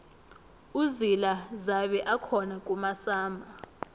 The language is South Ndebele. uzila zabe akhona kumasama